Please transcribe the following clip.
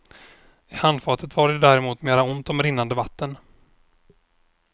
I handfatet var det däremot mera ont om rinnande vatten.